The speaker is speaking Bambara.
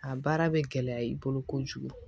A baara bɛ gɛlɛya i bolo kojugu